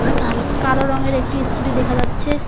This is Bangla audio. কালো রঙের একটি ইসকুটি দেখা যাচ্ছে।